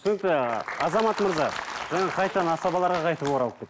түсінікті азамат мырза жаңа қайтадан асабаларға қайтіп оралып